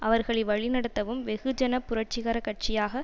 அவர்களை வழிநடத்தவும் வெகுஜன புரட்சிகர கட்சியாக